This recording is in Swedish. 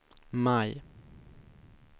maj